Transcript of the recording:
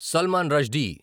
Salman Rushdie